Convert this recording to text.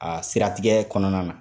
A siratigɛ kɔnɔna na